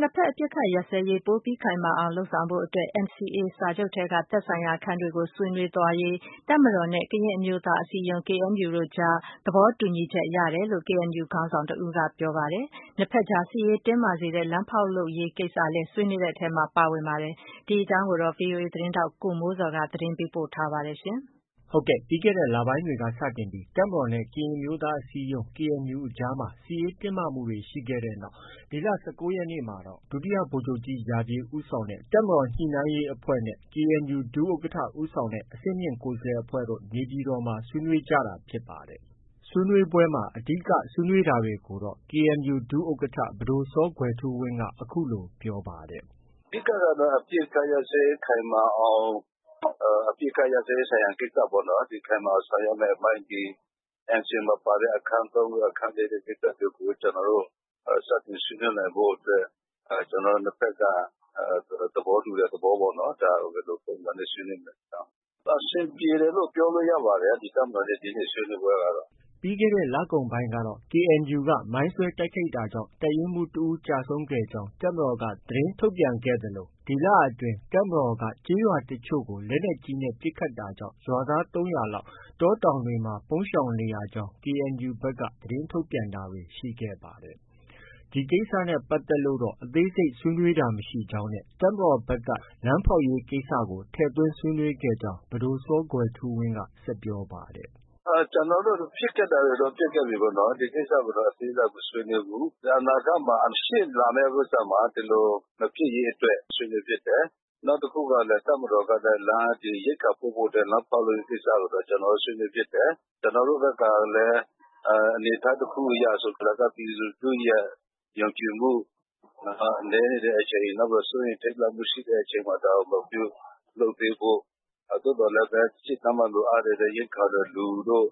နှစ်ဘက် အပစ်အခတ်ရပ်စဲရေး ပိုပြီးခိုင်မာအောင် လုပ်ဆောင်ဖို့အတွက် NCA စာချုပ်ထဲက သက်ဆိုင်ရာ အခန်းတွေကို ဆွေးနွေးသွားရေး တပ်မတော်နဲ့ ကရင်အမျိုးသားအစည်းအရုံး KNU တို့ကြား သဘောတူညီချက်ရတယ်လို့ KNU ခေါင်းဆောင်တဦးက ပြောပါတယ်။ နှစ်ဘက်ကြား စစ်ရေးတင်းမာစေတဲ့ လမ်းဖောက်လုပ်ရေးကိစ္စလည်း ဆွေးနွေးတဲ့ထဲမှာ ပါဝင်ပါတယ်။ ဒီအကြောင်း ဗွီအိုအေသတင်းထောက် ကိုမိုးဇော်က သတင်းပေးပို့ထားပါတယ်။ ပြီးခဲ့တဲ့ လပိုင်းတွေက စတင်ပြီး တပ်မတော်နဲ့ ကရင်အမျိုးသားအစည်းအရုံး KNU အကြားမှာ စစ်ရေးတင်းမာမှုတွေ ရှိခဲ့တဲ့နောက် ဒီလ ၁၉ ရက်နေ့မှာတော့ ဒုတိယဗိုလ်ချုပ်ကြီး ရာပြည့်ဦးဆောင်တဲ့ တပ်မတော် ညှိနှိုင်းရေးအဖွဲ့နဲ့ KNU ဒုဥက္ကဋ္ဌ ခေါင်းဆောင်တဲ့ အဆင့်မြင့် ကိုယ်စားလှယ်အဖွဲ့တို့ နေပြည်တော်မှာ ဆွေးနွေးကြတာဖြစ်ပါတယ်။ ဆွေးနွေးပွဲမှာ အဓိက ဆွေးနွေးတာတွေကိုတော့ KNU ဒုဥက္ကဋ္ဌ ပဒိုစောကွယ်ထူးဝင်းက အခုလို ပြောပါတယ်။ “အဓိကကတော့ အပစ်အခတ် ရပ်စဲရေး ခိုင်မာအောင် အပစ်အခတ်ရပ်စဲရေး ဆိုင်ရာကိစ္စရပ်ပေါ့နော် ခိုင်မာအောင်ဆောင်ရွက်ရမယ့် အပိုင်း NCA မှာ ပါတဲ့ ဒီ အခန်း ၃၊ အခန်း ၄ တို့ ကိစ္စတွေကို ကျနော်တို့ စတင်ဆွေးနွေးနိုင်ဖို့ အတွက် ကျနော်တို့ နှစ်ဘက်က သဘောတူတဲ့ သဘောပေါ့နော်။ ဒါကို ဘယ်လို ပုံစံနဲ့ ဆွေးနွေးမလဲပေါ့။ အဆင်ပြေတယ်လို့ ပြောလို့ ရပါတယ်။ တပ်မတော်နဲ့ ဒီနေ့ ဆွေးနွေးပွဲကတော့။” ပြီးခဲ့တဲ့ လကုန်ပိုင်းကတော့ KNU က မိုင်းဆွဲတိုက်ခိုက်တာကြောင့် တပ်ရင်းမှူးတဦးကျဆုံးခဲ့ရကြောင်း တပ်မတော်က သတင်းထုတ်ပြန်ခဲ့ပြီး ဒီလအတွင်း တပ်မတော်က ကျေးရွာတချို့ကို လက်နက်ကြီးနဲ့ ပစ်ခတ်တာကြောင့် ရွာသား ၃၀၀ လောက် တောတောင်တွေမှာ ပုန်းရှောင်နေရကြောင်း KNUက သတင်းထုတ်ပြန်တာတွေ ရှိခဲ့ပါတယ်။ ဒီကိစ္စတွေနဲ့ ပတ်သက်လို့တော့ အသေးစိတ် ဆွေးနွေးတာမရှိကြောင်းနဲ့ တပ်မတော်ဘက်က လမ်းဖောက်ရေးကိစ္စကို ထည့်သွင်းဆွေးနွေးခဲ့ကြောင်း ပဒိုစောကွယ်ထူးဝင်းက ဆက်ပြောပါတယ်။ “ကျနော်တို့ ဖြစ်ခဲ့တာတွေတော့ ဖြစ်ခဲ့ပြီပေါ့နော်။ ဒါပေမဲ့ ဒီကိစ္စကိုတော့ အသေးစိတ် မဆွေးနွေးဘူး။ အနာဂတ်မှာ ရှေ့လာမယ့် ဥစ္စာမှာ ဒီလို မဖြစ်ရေးအတွက် ဆွေးနွေးဖြစ်တယ်။ နောက်တခုကလည်း တပ်မတော်က ရိက္ခာပို့ဖို့အတွက် လမ်းဖောက်လုပ်ရေးကိစ္စကိုတော့ ကျနော်တို့ ဆွေးနွေးဖြစ်တယ်။ ကျနော်တို့ဘက်ကလည်း အနေအထားတစ်ခုအရဆို ပြည်သူလူထုရဲ့ ယုံကြည်မှု နည်းနေတဲ့အချိန် စိုးရိမ ်ထိတ်လန့်မှုရှိတဲ့အချိန် ဒါကို မပြုလုပ်သေးဖို့၊ သို့ပေမဲ့လည်း ရှေ့တန်းမှာလိုအပ်နေတဲ့ ရိက္ခာကို လူတို့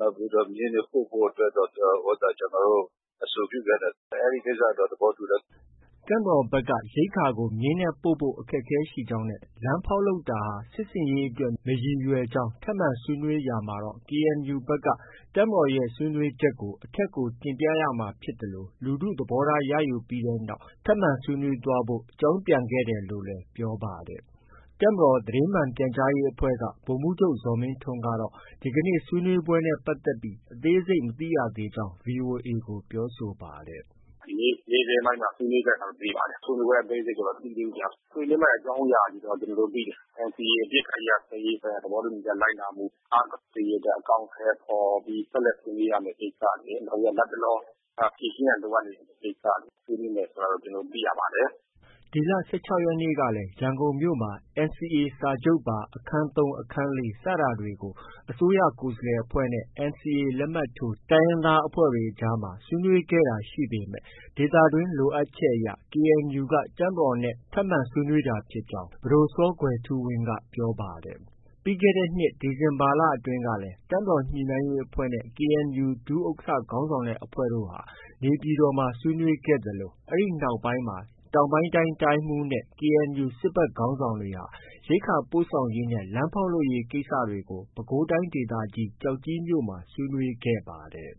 ၊ မြင်းတို့နဲ့ ပို့ဖို့အတွက်တော့ ကျနော်တို့ အဆိုပြုခဲ့တယ်။ အဲဒီကိစ္စတော့ သဘောတူတယ်။ ” တပ်မတော်ဘက်က ရိက္ခာကို မြင်းနဲ့ ပို့ဖို့ အခက်အခဲရှိကြောင်း နဲ့ လမ်းဖောက်လုပ်တာဟာ စစ်ဆင်ရေးအတွက် မရည်ရွယ်ကြောင်း ထပ်မံဆွေးနွေးရာမှာတော့ KNU ဘက် တပ်မတော်ရဲ့ ဆွေးနွေးချက်ကို အထက်ကို တင်ပြရမှာဖြစ်သလို လူထု သဘောထားရယူပြီးနောက် ထပ်မံဆွေးနွေးသွားဖို့ အကြောင်းပြန်ခဲ့တယ်လို့လည်း ပြောပါတယ်။ တပ်မတော် သတင်းမှန်ပြန်ကြားရေးအဖွဲ့က ဗိုလ်မှုးချုပ် ဇော်မင်းထွန်းကတော့ ဒီကနေ့ ဆွေးနွေးပွဲနဲ့ ပတ်သက်ပြီး အသေးစိတ် မသိရသေးကြောင်း VOA ကို ပြောဆိုပါတယ်။ “ ဒီနေ့ နေ့ခင်းပိုင်းမှာ ဆွေးနွေးတယ်ဆိုတာတော့ သိပါတယ်။ ဆွေးနွေးပွဲအသေးစိတ်ကိုတော့ မသိသေးဘူးဗျ။ ဆွေးနွေးမယ့် အကြောင်းအရာတွေတော့ သိတယ်။ NCA အပစ်အခတ်ရပ်စဲရေး သဘောတူညီချက် လိုက်နာမှု အားကောင်းစေရေးအတွက် အကောင်အထည်ဖော်ပြီး ဆက်လက် ဆွေးနွေးရမယ့် ကိစ္စရယ်၊ နောက်ပြီး လတ်တလော ဖြေရှင်းရန် လိုအပ်နေတဲ့ ကိစ္စရယ် ဆွေးနွေးမယ် ဆိုတာတော့ ကျနော်တို့ သိရပါတယ်။” ဒီလ ၁၆ ရက်နေ့ကလည်း ရန်ကုန်မြို့မှာ NCA စာချုပ်ပါ အခန်း ၃၊ အခန်း ၄စတာတွေကို အစိုးရကိုယ်စားလှယ်အဖွဲ့နဲ့ NCA လက်မှတ်ထိုး တိုင်းရင်းသားအဖွဲ့တွေကြားမှာ ဆွေးနွေးခဲ့တာတွေ ရှိပေမဲ့ ဒေသတွင်းလိုအပ်ချက်အရ KNU က တပ်မတော်နဲ့ ထပ်မံဆွေးနွေးကြတာဖြစ်ကြောင်း ပဒိုစောကွယ်ထူးဝင်းက ပြောပါတယ်။ ပြီးခဲ့တဲ့ ဒီဇင်ဘာလ တပ်မတော် ညှိနှိုင်းရေးအဖွဲ့နဲ့ KNU ဒုဥက္ကဋ္ဌ ခေါင်းဆောင်တဲ့ အဖွဲ့တို့ဟာ နေပြည်တော်မှာ ဆွေးနွေးခဲ့သလို အဲဒီနောက်မှာ တောင်ပိုင်းတိုင်း တိုင်းမှုးနဲ့ KNU စစ်ဘက်ခေါင်းဆောင်တွေဟာ ရိက္ခာပို့ဆောင်ရေးနဲ့ လမ်းဖောက်လုပ်ရေး ကိစ္စရပ်တွေကို ပဲခူးတိုင်းဒေသကြီး ကျောက်ကြီးမြို့ ဆွေးနွေးခဲ့ပါတယ်။